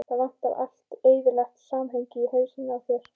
Það vantar allt eðlilegt samhengi í hausinn á þér.